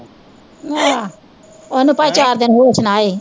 ਆਹ ਓਹਨੂੰ ਭਾਂਵੇ ਚਾਰ ਦਿਨ ਹੋਸ਼ ਨਾ ਆਏ